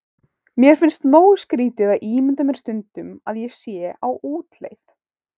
Mér finnst nógu skrýtið að ímynda mér stundum ég sé á útleið.